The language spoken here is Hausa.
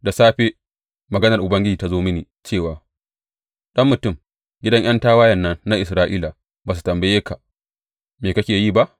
Da safe maganar Ubangiji ta zo mini cewa, Ɗan mutum, gidan ’yan tawayen nan na Isra’ila ba su tambaye ka, Me kake yi ba?’